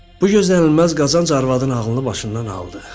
Bu gözlənilməz qazanc arvadın ağlını başından aldı.